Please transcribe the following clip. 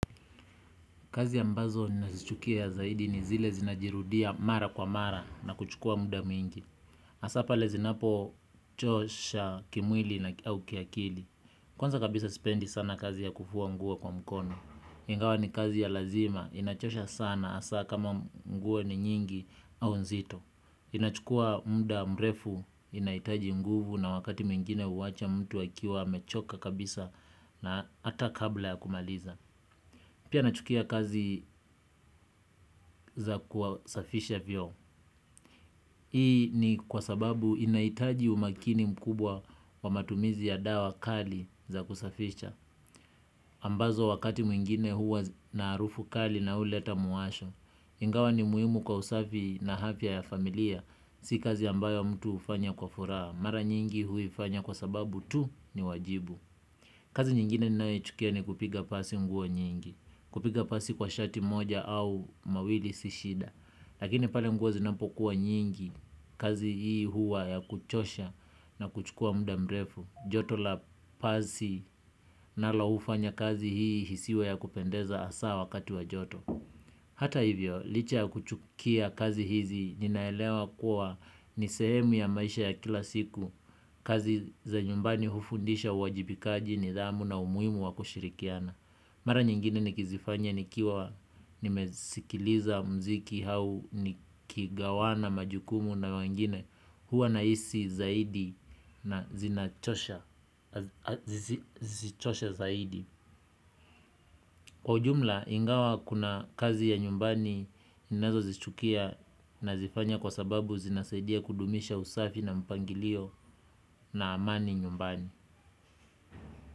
Kazi ambazo na zichukia zaidi ni zile zinajirudia mara kwa mara na kuchukua muda mwingi. Hasa pale zinapo chosha kimwili au kiakili. Kwanza kabisa sipendi sana kazi ya kufua nguo kwa mkono. Ingawa ni kazi ya lazima. Inachosha sana hasa kama nguo ni nyingi au nzito. Inachukua muda mrefu inahitaji nguvu na wakati mwingine huwacha mtu akiwa amechoka kabisa na hata kabla ya kumaliza. Pia nachukia kazi za kwa safisha vyombo. Hii ni kwa sababu inahitaji umakini mkubwa wa matumizi ya dawa kali za kusafisha. Ambazo wakati mwingine huwa na harufu mkali na huleta muwasho. Ingawa ni muhimu kwa usafi na afya ya familia. Si kazi ambayo mtu hufanya kwa furhaa. Mara nyingi huifanya kwa sababu tu ni wajibu. Kazi nyingine ninaye chukia ni kupiga pasi nguo nyingi. Kupiga pasi kwa shati moja au mawili si shida. Lakini pale nguo zinapokuwa nyingi kazi hii huwa ya kuchosha na kuchukua muda mrefu. Joto la pasi nalo hufanya kazi hii isiwe ya kupendeza hasaa wakati wa joto. Hata hivyo licha ya kuchukia kazi hizi ninaelewa kuwa nisehemu ya maisha ya kila siku. Kazi za nyumbani hufundisha uwajibikaji nidhamu na umuhimu wa kushirikiana. Mara nyingine nikizifanya nikiwa nimesikiliza mziki au nikigawana majukumu na wengine huwa nahisi zaidi na zinachosha zaidi. Kwa ujumla ingawa kuna kazi ya nyumbani ninazo zichukia nazifanya kwa sababu zinasaidia kudumisha usafi na mpangilio na amani nyumbani.